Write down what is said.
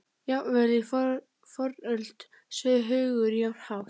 Jafnvel í fornöld sveif hugur jafn hátt.